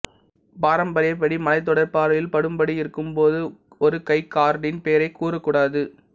பாரம்பரியப்படி மலைத்தொடர் பார்வையில் படும்படி இருக்கும் போது ஒரு கைர்கானின் பெயரைக் கூறக்கூடாது